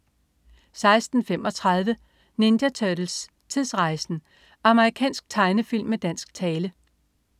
16.35 Ninja Turtles: Tidsrejsen! Amerikansk tegnefilm med dansk tale